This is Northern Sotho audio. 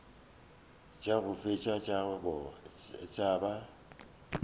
tša go feta tša ba